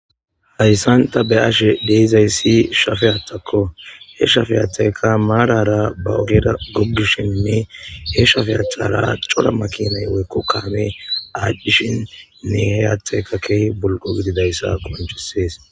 Hayssan tha be7ashe de7izayssi shafe haaththakko; he shafe haaththaykka maaraara ba ogeera goggishinne he shafe haaththara cora makiinay woykko kaamee aadhdishin ne he haaththeykka keehi bulqqo gididayssa qonccisees.